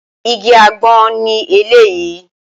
Igi àgbọn ni eléyìí